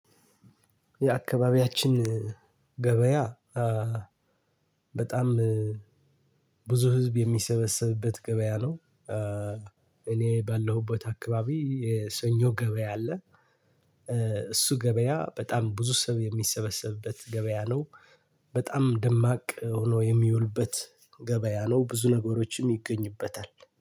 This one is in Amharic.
የአካባቢያችን ገበያ በጣም ብዙ ህዝብ የሚሰበሰብበት ገበያ ነው። እኔ ባለሁበት አካባቢ የሰኞ ገበያ አለ። እሱ ገበያ በጣም ብዙ ሰው የሚሰበሰብበት ገበያ ነው። በጣም ደማቅ ሆኖ የሚውልበት ገበያ ነው። ብዙ ነገሮችም ይገኙበታል።